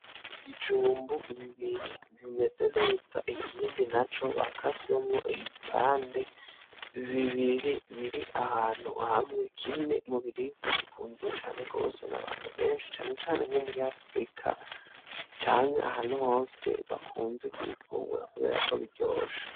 IBijumbu bibiri bimeze neza ikindi na co bakasemwo ibipande bibiri biri ahantu hamwe kimwe mubiribwa bikunzwe cane rwose na abantu benshi canecane nko muri afrika canke ahantu hose bakunze kubifungura, kubera ko biryoshe